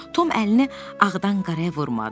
Tom əlini ağdan qaraya vurmadı.